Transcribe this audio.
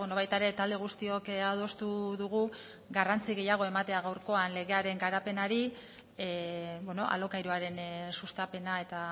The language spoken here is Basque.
baita ere talde guztiok adostu dugu garrantzi gehiago ematea gaurkoan legearen garapenari alokairuaren sustapena eta